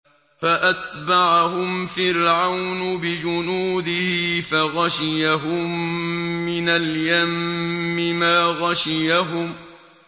فَأَتْبَعَهُمْ فِرْعَوْنُ بِجُنُودِهِ فَغَشِيَهُم مِّنَ الْيَمِّ مَا غَشِيَهُمْ